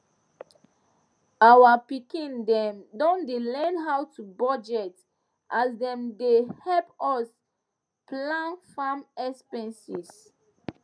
our pikin dem don dey learn how to budget as dem dey help us plan farm expenses